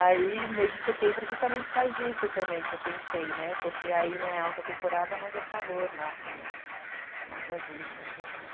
Aí, mês de setembro, justamente com a agência também, que eu pensei, né, porque aí não é alta temporada, mas é calor lá também, mais vazio, mais barato.